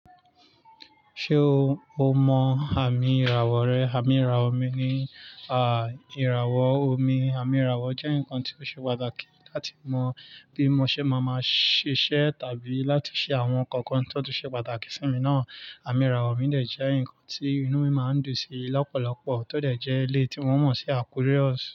Ṣé o, o mọ àmì ìràwọ̀ rẹ? Àmì ìràwọ̀ mi ni, a, ìràwọ̀ omi. Àmì ìràwọ̀ jẹ́ nǹkan tó ṣe pàtàkì láti mọ bí mo ṣe máa máa ṣe ṣẹ́ tàbí láti ṣe àwọn kankan tó tun ṣe pàtàkì sí mi náà. Àmì ìràwọ̀ mi dẹ̀ jẹ́ nǹkan tí inú mi máa ń dùn sí lọ́pọ̀lọpọ̀ tó dẹ̀ jẹ́ eléyi tí wọ́n mọ̀ sí Aquarius.